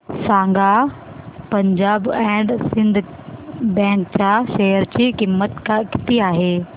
सांगा Punjab and Sind bank च्या share ची किंमत किती आहे